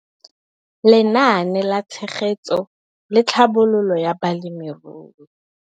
Lenaane la Tshegetso le Tlhabololo ya Balemirui.